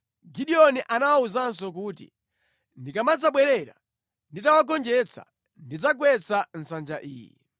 Gideoni anawawuzanso kuti, “Ndikamadzabwerera nditawagonjetsa, ndidzagwetsa nsanja iyi.”